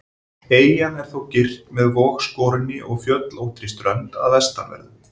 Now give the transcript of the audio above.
Eyjan er þó girt með vogskorinni og fjöllóttri strönd að vestanverðu.